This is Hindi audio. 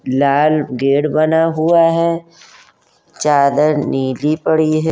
लाल गेट बना हुआ है। चादर नीली पड़ी है।